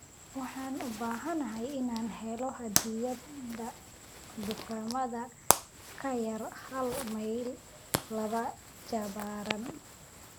Waxaan u baahanahay inaan helo hadiyad dukaamada ka yar hal mayl laba jibaaran